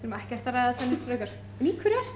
ekkert að ræða það neitt frekar en í hverju ertu